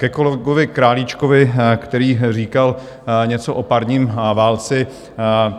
Ke kolegovi Králíčkovi, který říkal něco o parním válci.